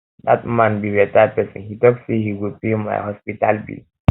dat man be better person he talk say he go pay he go pay my hospital bill